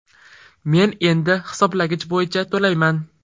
Men endi hisoblagich bo‘yicha to‘layman.